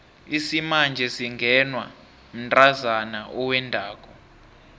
isimanje singenwa mntazana owendako